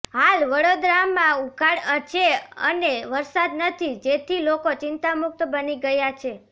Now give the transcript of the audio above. હાલ વડોદરામાં ઉઘાડ છે અને વરસાદ નથી જેથી લોકો ચિંતામુક્ત બની ગયા છે